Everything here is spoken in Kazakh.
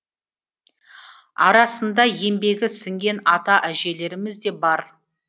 арасында еңбегі сіңген ата әжелеріміз де бар